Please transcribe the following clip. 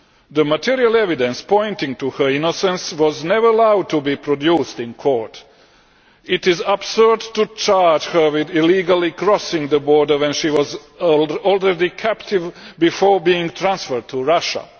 The material evidence pointing to her innocence was never allowed to be produced in court. It is absurd to charge her with illegally crossing the border when she was already captive before being transferred to Russia.